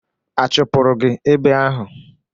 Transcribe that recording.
A chụpụrụ gị ebe ahụ?